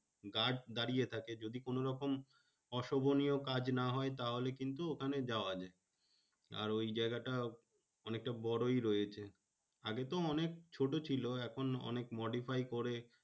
Guard দাঁড়িয়ে থাকে। যদি কোনোরকম অশোভনীয় কাজ না হয় তাহলে কিন্তু ওখানে যাওয়া যায়। আর ওই জায়গাটা অনেকটা বড়ই রয়েছে। আগে তো অনেক ছোট ছিল। এখন অনেক modify করে